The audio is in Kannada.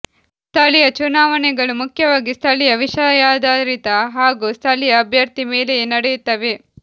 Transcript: ಸ್ಥಳೀಯ ಚುನಾವಣೆಗಳು ಮುಖ್ಯವಾಗಿ ಸ್ಥಳೀಯ ವಿಷಯಾಧಾರಿತ ಹಾಗೂ ಸ್ಥಳೀಯ ಅಭ್ಯರ್ಥಿ ಮೇಲೆಯೇ ನಡೆಯುತ್ತವೆ